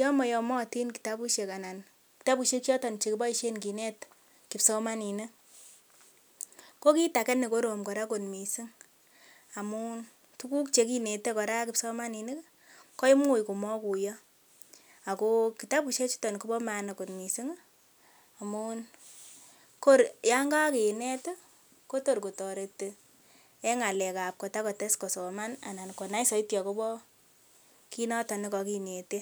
yon moyomotin kitabusiek anan kitabusiek choton chekiboisien kinet kipsomaninik ko kit age nekorom kora kot missing amun tuguk chekinete kora kipsomaninik koimuch komokuiyo ako kitabusiek chuton kobo maana kot missing' amun kor yan kakinet ih kotor kotoreti en ng'alek ab kotakotes kosoman anan konai soiti akobo kit noton nekokinete